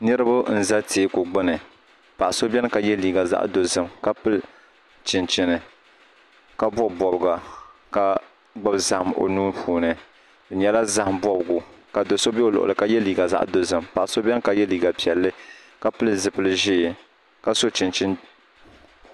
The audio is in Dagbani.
Niraba n ʒɛ teeku gbuni paɣa so n ʒɛ ka yɛ liiga zaɣ dozim ka pili chinchini ka bob bobga ka gbubi zaham o nuu puuni di nyɛla zaham bobgu ka do so bɛ o luɣuli ni ka yɛ liiga zaɣ dozim paɣa so biɛni ka yɛ liiga piɛlli ka pili zipili ʒiɛ ka so chinchini